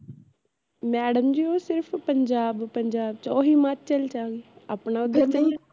madam ji ਓ ਸਿਰਫ ਪੰਜਾਬ ਪੰਜਾਬ ਚ ਆ ਓਹ ਹਿਮਾਚਲ ਚ ਆ